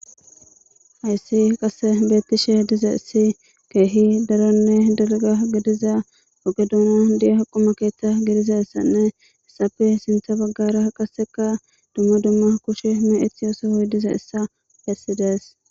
Hayssi beettishe diza issi keehi daronne dalga gidiza oge doona diya haquma keetta gidiza issanne issappe sintha baggara qaseka dumma dumma kushe me7ethi yooso hoy diza issa pessides.